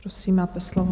Prosím, máte slovo.